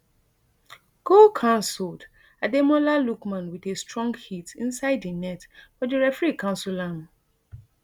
goal cancelled ademola lookman wit a strong hit inside di net but di referee cancel am